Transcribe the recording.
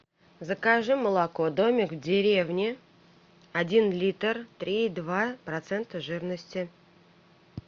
закажи молоко домик в деревне один литр три и два процента жирности